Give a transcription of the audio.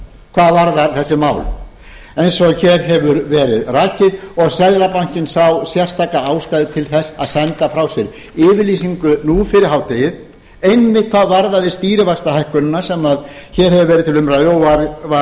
hvað varðar þessi mál eins og hér hefur verið rakið og seðlabankinn sá sérstaka ástæðu til þess að senda frá sér yfirlýsingu nú fyrir hádegið einmitt hvað varðaði stýrivaxtahækkunina sem hér hefur verið til umræðu